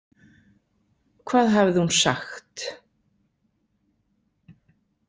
Hvað hafði hún sagt?